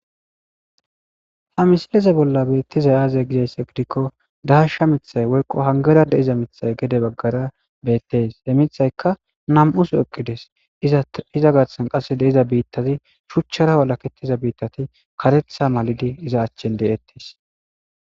Ha misilize bolla beettizay aaze gizaysse gidikko daasha mithay woyqo hangera de iza mithay gede baggara beettes e mithayka nam'us eqqides iza garsan qasse deiza biittati shuchchara walakettiza biittati karetha malidi iza achchen deettes.